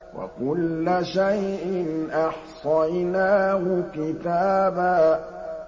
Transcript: وَكُلَّ شَيْءٍ أَحْصَيْنَاهُ كِتَابًا